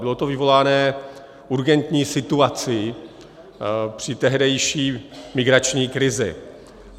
Bylo to vyvoláno urgentní situací při tehdejší migrační krizi.